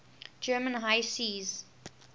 german high seas